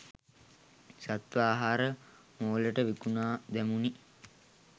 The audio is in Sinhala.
සත්ව ආහාර මෝලට විකුණා දැමුනි.